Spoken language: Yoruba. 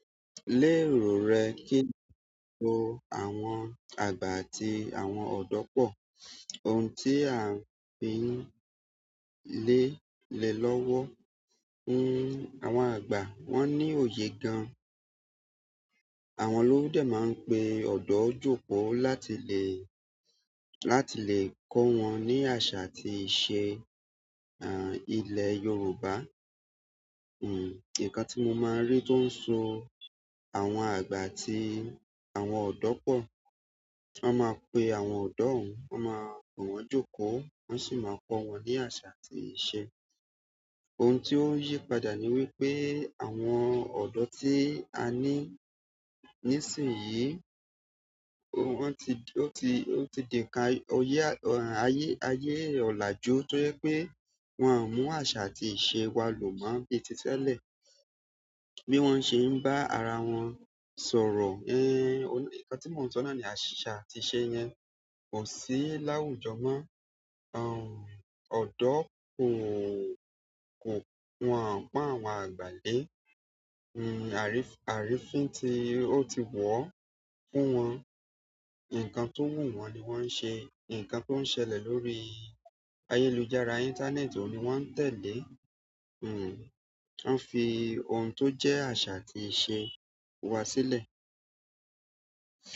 Lérò rẹ kí n so àwọn àgba àti àwọn ọ̀dọ́ pọ̀. Ohun tí a ń fi lé le lọ́wọ́ fún àwọn àgbà wọ́n ní òye gan. Àwọn olówó dé máa ń pe ọdọ jókòó láti lè, láti lè kọ́ wọn ní àṣà àti ìṣe, ilẹ̀ Yorùbá. Nǹkan tí mo máa ń rí tó ń so àwọn àgbà àti àwọn ọ̀dọ́ pọ̀, ti wọ́n máa pe àwọn ọ̀dọ́ hun, wọ́n máa pe wọn jókòó, wọ́n sì máa kọ́ wọn ní àṣà àti ìṣe. Ohun ti o yi padà ni wi pe àwọn ọdọ ti a ni nisinyii wọ́n ti, ó ti, ó ti dènka ọyẹ, ayé, ayé ọ̀làjú tó yẹ pé wón mú aṣa àti ìṣe wa lò mọ bi tí tẹ́lẹ̀ bí wọ́n ṣe ń bá ara wọn sọ̀rọ̀. Nǹkan tí mò ń sọ náà ni aṣa àti ìṣe yẹn kò sí láwùjọ mọ́. Ọ̀dọ́ kò, kò, wọn ò pọ́n àwọn àgbà lé. Arínfín tí ó ti wọ̀ fún wọn. Nǹkan tó wù wọ́n ni wọ́n ń ṣe. Nǹkan tó ń ṣẹlẹ̀ lórí ayélujára, íńtánẹ́ẹ̀tì ò ní wọ́n ń tẹ̀lé. Hmm, wọ́n fi ohun tó jẹ́ àṣà àti ìṣe wa sílẹ̀.